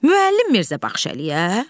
Müəllim Mirzə Baxşəliyə?